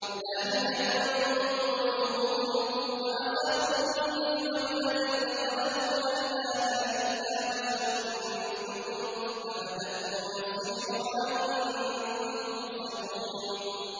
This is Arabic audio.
لَاهِيَةً قُلُوبُهُمْ ۗ وَأَسَرُّوا النَّجْوَى الَّذِينَ ظَلَمُوا هَلْ هَٰذَا إِلَّا بَشَرٌ مِّثْلُكُمْ ۖ أَفَتَأْتُونَ السِّحْرَ وَأَنتُمْ تُبْصِرُونَ